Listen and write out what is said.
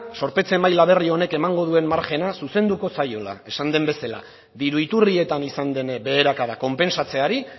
zorpetze maila berri honek emango duen margena zuzenduko zaiola esan den bezala diru iturrietan izan den beherakada konpentsatzeari